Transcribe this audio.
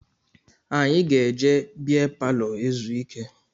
Anyị ga-eje beer palọ ezu ike